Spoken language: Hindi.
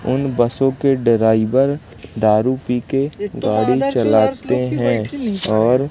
उन बसों के ड्राईवर दारु पी के गाड़ी चलाते हैं और --